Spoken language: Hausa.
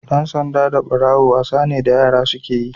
Ɗan sanda da Ɓarawo wasa ne da da yara suke yi.